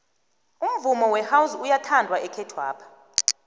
umvumo wehouse uyathandwa ekhethwapha